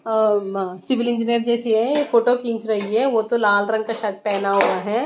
अ म शिवलिंग जैसी है ये फोटो खींच रही है वो तो लाल रंग का शर्ट पेहना हुआ है।